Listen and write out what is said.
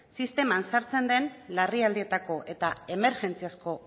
sisteman sartzen den larrialdietako eta emergentziazko